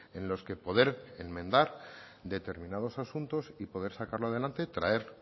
en los que poder enmendar determinados asuntos y poder sacarlo adelante traer